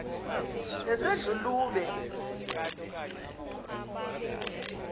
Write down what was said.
nesedlulube